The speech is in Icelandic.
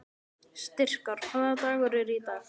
Styrkár, hvaða dagur er í dag?